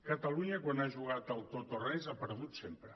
catalunya quan ha jugat al tot o res ha perdut sempre